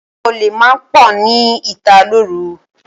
Àwọn olè máa ń pọ̀ ní ìta lóru.